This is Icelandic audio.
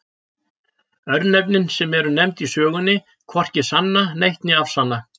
Örnefnin sem eru nefnd í sögunni hvorki sanna neitt né afsanna.